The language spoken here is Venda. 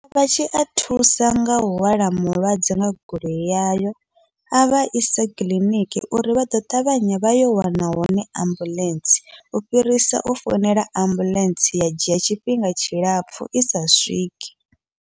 Vha tshi a thusa ngau hwala mulwadze nga goloi yayo, avha ise kiḽiniki uri vha ḓo ṱavhanya vha yo wana hone ambuḽentse, u fhirisa u founela ambuḽentse ya dzhia tshifhinga tshilapfhu isa swiki.